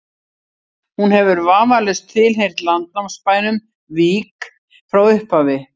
hún hefur vafalaust tilheyrt landnámsbænum vík frá upphafi